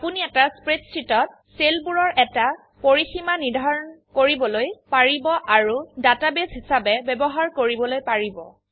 আপোনি এটা স্প্ৰেডশীটত সেলবোৰৰ এটা পৰিসীমা নিৰ্ধাৰণ কৰিবলৈ পাৰিব আৰু ডাটাবেস হিসাবে ব্যবহাৰ কৰিবলৈ পাৰিব